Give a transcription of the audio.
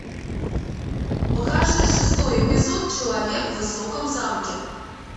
покажи шестой эпизод человек в высоком замке